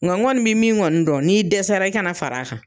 Nga n kɔni bɛ min kɔni dɔn, n'i dɛsɛra i kan'a far'a kan.